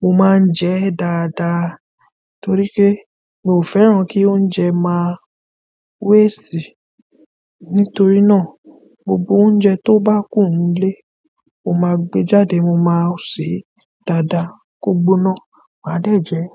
mo máa ń jẹ ẹ́ dáadáa torí pé mi ò fẹ́ràn kí oúnjẹ máa waste. Nítorí náà gbogbo oúnjẹ tó bá kù nílé, mo máa gbe jáde, mo máa sè é dáadáa, kó gbóná, máa dẹ̀ jẹ ẹ́.